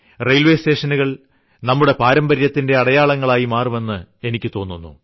railway സ്റ്റേഷനുകൾ നമ്മുടെ പാരമ്പര്യത്തിന്റെ അടയാളങ്ങളായിമാറും എന്ന് എനിക്കു തോന്നുന്നു